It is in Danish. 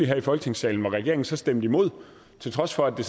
her i folketingssalen hvor regeringen så stemte imod til trods for at det